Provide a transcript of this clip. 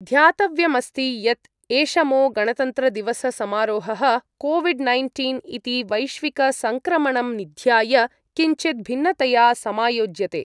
ध्यातव्यमस्ति यत् ऐषमो गणतन्त्रदिवससमारोहः कोविड् नैन्टीन् इति वैश्विकसङ्क्रमणं निध्याय किञ्चिद् भिन्नतया समायोज्यते।